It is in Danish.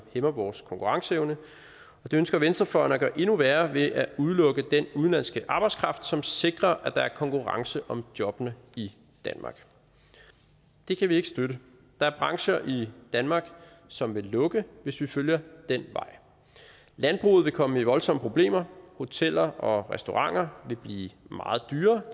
hæmmer vores konkurrenceevne og det ønsker venstrefløjen at gøre endnu værre ved at udelukke den udenlandske arbejdskraft som sikrer at der er konkurrence om jobbene i danmark det kan vi ikke støtte der er brancher i danmark som vil lukke hvis vi følger den vej landbruget vil komme i voldsomme problemer hoteller og restauranter vil blive meget dyrere